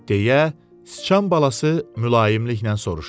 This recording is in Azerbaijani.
Deyə sıçan balası mülayimliklə soruştu.